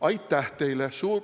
Aitäh teile!